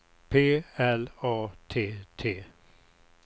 P L A T T